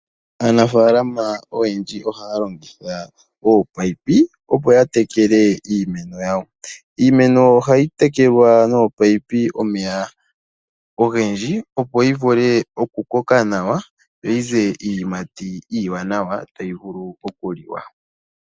Aanafalama oyendji ohaalongitha oopayipi opo ya tekele iimeno yawo. Iimeno ohayi tekelwa noopayipi omeya ogendji opo yi vule okukoka nawa, yo yize iiyimati iiwanawa tayi vulu okuliwa.